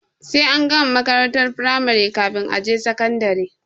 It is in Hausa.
Sai an gama makarantar firamari kafin a je sakandare.